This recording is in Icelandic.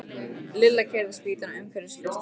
Lilla keyrði spýtuna umsvifalaust í hausinn á Dóra.